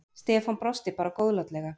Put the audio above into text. Stefán brosti bara góðlátlega.